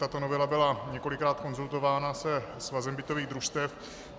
Tato novela byla několikrát konzultována se Svazem bytových družstev.